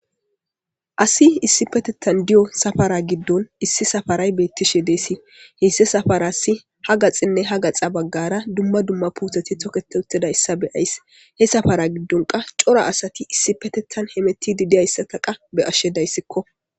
Asi issi petettan diyo safara giddon issi safaray beettishe deesi heysse safarassi ha gaxinne ha gaxa baggara dumma dumma puutheti tokete uttida issa be ayss he safara giddonka cora asati issi petettan hemeti didiyayssataqa be ashshe dayssikko